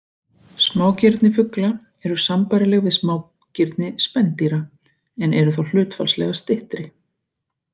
Smágirni fugla eru sambærileg við smágirni spendýra en eru þó hlutfallslega styttri.